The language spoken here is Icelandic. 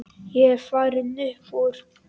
Ég er farinn upp úr.